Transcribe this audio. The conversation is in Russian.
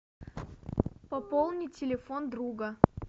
пополнить телефон друга